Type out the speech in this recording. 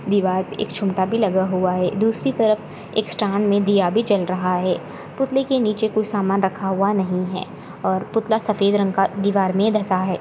दिवार एक छूंता भी लगा हुआ है दूसरी तरफ एक स्टान में दिया भी जल रहा है पुतले के निचे कुछ सामान रखा हुआ नहीं है और पुतला सफ़ेद रंग का दिवार में धसा है।